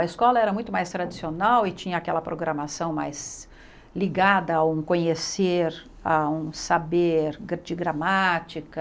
A escola era muito mais tradicional e tinha aquela programação mais ligada a um conhecer, a um saber gra de gramática.